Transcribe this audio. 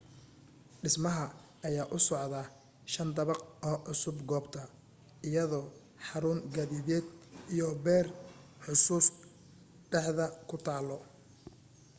dhismaha ayaa u socdo shan dabaq oo cusub goobta iyadoo xaruun gaadideed iyo beer xusuus dhexda ku taalo